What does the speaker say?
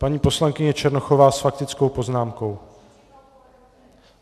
Paní poslankyně Černochová s faktickou poznámkou.